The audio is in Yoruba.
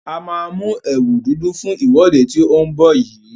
A maa mú ẹ̀wù dúdú fún ìwọ́de tí ó ń bọ̀ yìí.